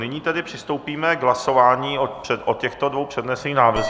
Nyní tedy přistoupíme k hlasování o těchto dvou přednesených návrzích.